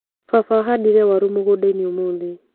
Baba ahandire waru mũgũndainĩ ũmũthĩ.